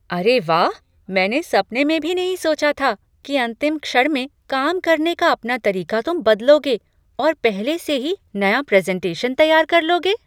अरे वाह! मैंने सपने में भी नहीं सोचा था कि अंतिम क्षण में काम करने का अपना तरीका तुम बदलोगे और पहले से ही नया प्रेज़ेन्टेशन तैयार कर लोगे।